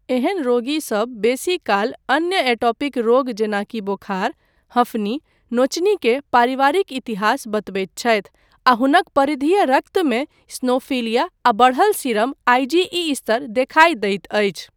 एहन रोगीसब बेसीकाल अन्य एटोपिक रोग जेनाकि बोखार, हँफनी, नोचनीक पारिवारिक इतिहास बतबैत छथि, आ हुनक परिधीय रक्तमे इसिनोफिलिया आ बढ़ल सीरम आइजीई स्तर देखाइ दैत अछि।